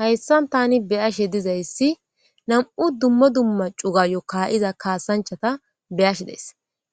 Hayssan tani beyashe dizayssi nam7u dummo dumma cuga yokka7iza kaasanchata beyashe des